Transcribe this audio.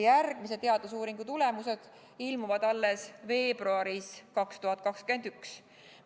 Järgmise teadusuuringu tulemused ilmuvad aga alles veebruaris 2021.